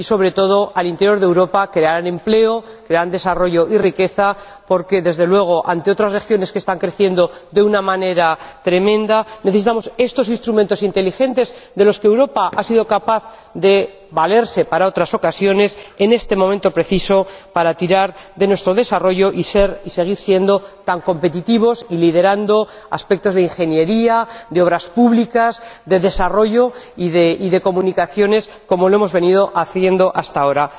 Y, sobre todo, en el interior de Europa, crearán empleo, crearán desarrollo y riqueza porque, desde luego, ante otras regiones que están creciendo de una manera tremenda, necesitamos estos instrumentos inteligentes, de los que Europa ha sido capaz de valerse en otras ocasiones, en este momento preciso para tirar de nuestro desarrollo y seguir siendo tan competitivos y liderando aspectos de ingeniería, de obras públicas, de desarrollo y de comunicaciones, como lo hemos venido haciendo hasta ahora.